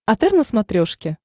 отр на смотрешке